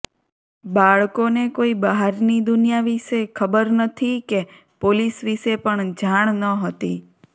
બાળકોને કોઈ બહારની દુનિયા વિશે ખબર નથી કે પોલીસ વિશે પણ જાણ ન હતી